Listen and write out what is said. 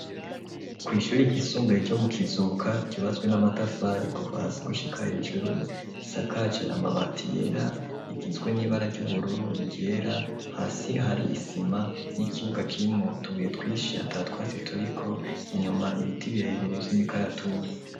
Kw'ishuri ryisumbaye ryo mu kizuka yubatswe n'amatafari kuva hasi gushika hejuru isakaci amabati yera igizwe n'ibara ry'ubururu igera hasi hari isima n'ikibuga cimwo tubuye twishi atatwasi turiko inyuma ibiti birebere by'imikaratusi.